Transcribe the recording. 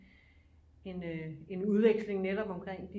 En øh en udveksling netop omkring